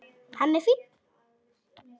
Hann er fínn.